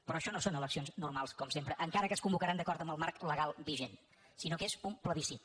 però això no són eleccions normals com sempre encara que es convocaran d’acord amb el marc legal vigent sinó que és un plebiscit